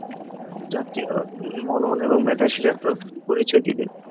যাতে উম মনন এবং মেধাশীল একটা পরিচয় দিবে